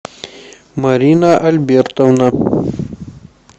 марина альбертовна